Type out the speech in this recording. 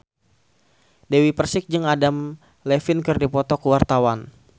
Dewi Persik jeung Adam Levine keur dipoto ku wartawan